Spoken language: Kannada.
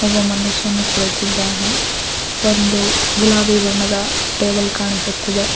ಒಬ್ಬ ಮನುಷ್ಯನು ಕುಳಿತಿದ್ದಾನೆ ಒಂದು ಗುಲಾಬಿ ಬಣ್ಣದ ಟೇಬಲ್ ಕಾಣಿಸುತ್ತಿದೆ.